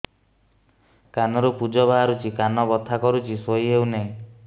କାନ ରୁ ପୂଜ ବାହାରୁଛି କାନ ବଥା କରୁଛି ଶୋଇ ହେଉନାହିଁ